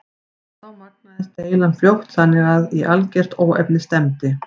Þá magnaðist deilan fljótt þannig að í algert óefni stefndi.